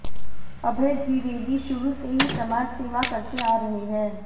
अभय द्विवेदी शुरू से ही समाजसेवा करते आ रहे हैं